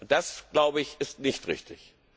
Das, glaube ich, ist nicht richtig.